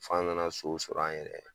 Fo an nana so sɔrɔ an yɛrɛ ye